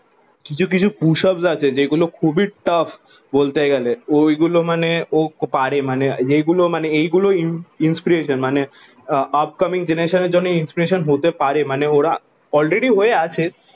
কিছু কিছু push ups আছে যেই গুলো খুবই টাফ বলতে গেলে ওই গুলো মানে ও পারে মানে যেই গুলো মানে এই গুলো ইন ইনস্পিরেশন মানে উপ কামিং জেনেরেশনের জন্যে ইনস্পিরেশনহতে পারে মানে ওরা অলরেডি হয়ে আছে